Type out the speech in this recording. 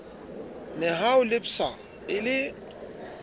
nehawu le psa e le